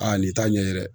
Aa nin t'a ɲɛ dɛ